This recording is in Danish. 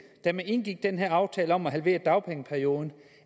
da man gik indgik den her aftale om at halvere dagpengeperioden